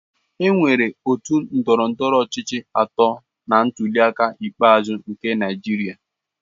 Enwere otu ndọrọndọrọ ọchịchị atọ na ntuliaka ikpeazụ nke Naịjirịa.